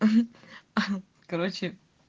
угу ага короче